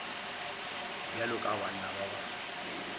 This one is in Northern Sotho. bjalo ka banna ba bangwe